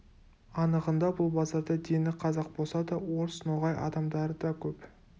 анығында бұл базарда дені қазақ болса да орыс ноғай адамдары да көп